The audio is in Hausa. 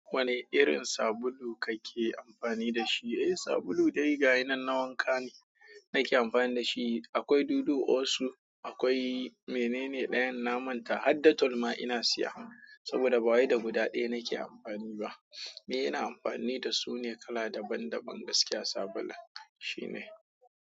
Wane irin sabulu kake amfani da shi? Eh, sabulu dai ga yanan na wanka ne nake amfani da shi. Akwai dudu, osu, akwai menene ɗayan na manta har da Dettol ina siya saboda ba wa da guda ɗaya nake amfani ba. Eh ina amfani da su ne kala daban daban gaskiya sabulun shine.